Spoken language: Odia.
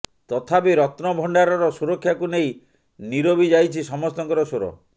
ତଥାପି ରତ୍ନ ଭଣ୍ଡାରର ସୁରକ୍ଷାକୁ ନେଇ ନିରବି ଯାଇଛି ସମସ୍ତଙ୍କର ସ୍ବର